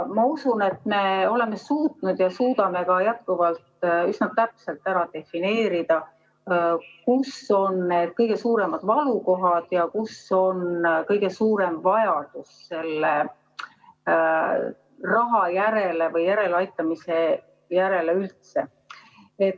Ma usun, et me oleme suutnud ja suudame ka jätkuvalt üsna täpselt defineerida, kus on need kõige suuremad valukohad ja kus on kõige suurem vajadus selle raha järele või järeleaitamise järele üldse.